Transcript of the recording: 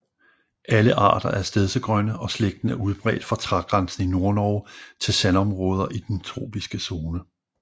Alle arter er stedsegrønne og slægten er udbredt fra trægrænsen i Nordnorge til sandområder i den tropiske zone